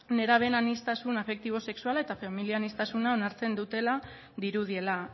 nerabeen aniztasun afektibo sexuala eta familia aniztasuna onartzen dutela dirudiela